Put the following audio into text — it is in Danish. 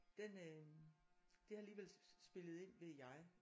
Den øh det har alligevel spillet ind ved jeg